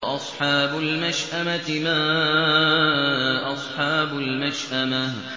وَأَصْحَابُ الْمَشْأَمَةِ مَا أَصْحَابُ الْمَشْأَمَةِ